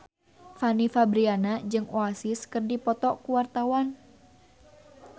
Fanny Fabriana jeung Oasis keur dipoto ku wartawan